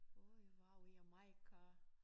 Åh I var jo i Jamaica